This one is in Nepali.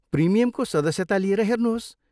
प्रिमियमको सदस्यता लिएर हेर्नुहोस्।